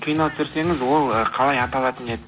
кино түсірсеңіз ол ы қалай аталатын еді